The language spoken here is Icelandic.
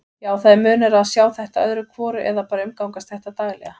Já, það er munur á að sjá þetta öðru hvoru eða bara umgangast þetta daglega.